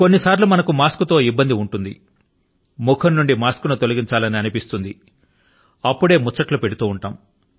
కొన్నిసర్లు మనకు మాస్క్ తో ఇబ్బంది ఉంటుంది ముఖం నుండి మాస్కు ను తొలగించాలని అనిపిస్తుంది అప్పుడే ముచ్చట్లు పెడుతూ ఉంటాము